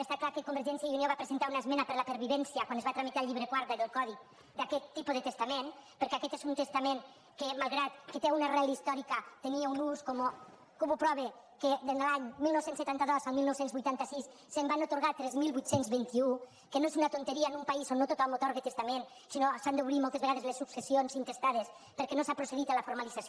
està clar que convergència i unió va presentar una esmena per la pervivència quan es va tramitar el llibre quart del codi d’aquest tipus de testament perquè aquest és un testament que malgrat que té una arrel històrica tenia un ús com ho prova que de l’any dinou setanta dos al dinou vuitanta sis se’n van atorgar tres mil vuit cents i vint un que no és una tonteria en un país on no tothom atorga testament sinó que s’han d’obrir moltes vegades les successions intestades perquè no s’ha procedit a la formalització